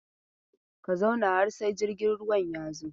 Ka zauna har sai jirgin ruwan ya zo!